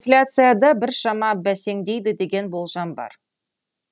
инфляция да біршама бәсеңдейді деген болжам бар